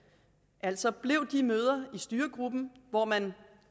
altså blev det de møder i styregruppen hvor man